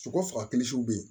Sogo faga bɛ yen